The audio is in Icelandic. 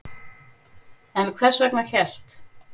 En hvers vegna hélt